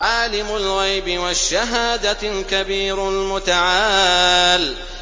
عَالِمُ الْغَيْبِ وَالشَّهَادَةِ الْكَبِيرُ الْمُتَعَالِ